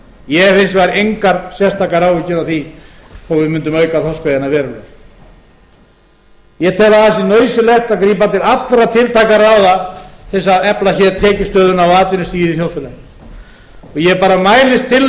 ég hef hins vegar engar sérstakar áhyggjur af því þó að við mundum auka þorskveiðina verulega ég tel að það sé nauðsynlegt að grípa til allra tiltækra ráða til þess að efla hér tekjustöðuna og atvinnustigið í þjóðfélaginu og ég bara mælist til þess